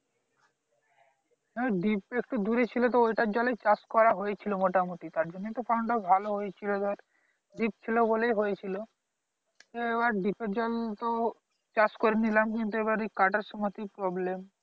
deep টা একটু দূরেই ছিল তা ওটার জলেই চাষ করা হয়েছিল মোটামোটি তারজন্যই তো pump টা ভালো হয়েছিল ধর deep ছিল বলেই হয়েছিল এবার deep এর জল তো চাষ করে নিলাম কিন্তু এবার এই কাটার সময় এই problem